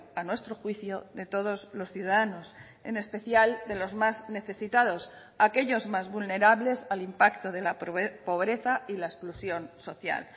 a nuestro juicio de todos los ciudadanos en especial de los más necesitados aquellos más vulnerables al impacto de la pobreza y la exclusión social